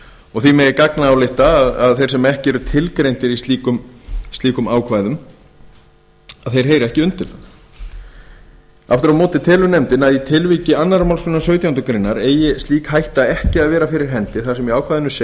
og því megi gagnálykta að þeir sem ekki eru tilgreindir í slíkum ákvæðum heyri ekki undir það aftur á móti telur nefndin að í tilviki annarrar málsgreinar sautjándu grein eigi slík hætta ekki að vera fyrir hendi þar sem í ákvæðinu